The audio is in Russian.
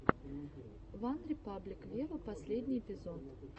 ван репаблик вево последний эпизод